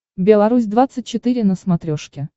белорусь двадцать четыре на смотрешке